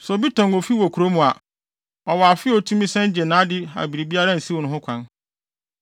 “ ‘Sɛ obi tɔn ofi wɔ kurom a, ɔwɔ afe a otumi san gye nʼade a biribiara nsiw no ho kwan.